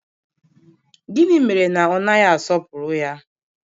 Gịnị mere na ọ naghị asọpụrụ ya?